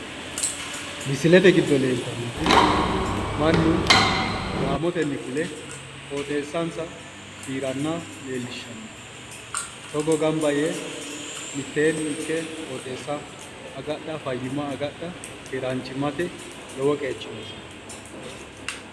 Misilete giddo leeltannoti mannu gaamotenni fule qooxeessa nsa fiiranna leellishanno togo gamba yee mittimmatenni ikke qooxeessa agadha fayyimma agadha keeraanchimmate lowo qeechi noose.